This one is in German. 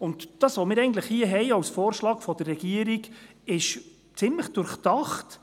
Das, was wir hier eigentlich als Vorschlag der Regierung haben, ist ziemlich durchdacht.